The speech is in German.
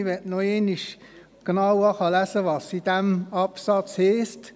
Ich möchte noch einmal genau vorlesen, was in diesem Absatz steht: